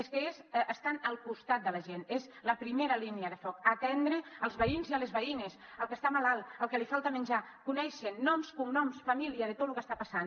és que ells estan al costat de la gent és la primera línia de foc atendre els veïns i les veïnes el que està malalt el que li falta menjar coneixen noms cognoms família de tot lo que està passant